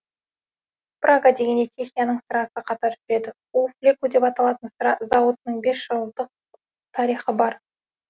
прага дегенде чехияның сырасы қатар жүреді у флеку деп аталатын сыра зауытының бес жүз жылдық тарихы бар